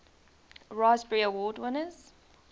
raspberry award winners